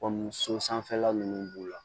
Kɔmi so sanfɛla nunnu b'u la